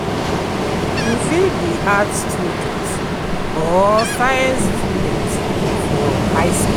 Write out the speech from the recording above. You fit be Arts student or Science student for high skool.